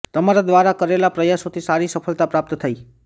તમારા દ્વારા કરેલાં પ્રયાસોથી સારી સફળતા પ્રાપ્ત થઇ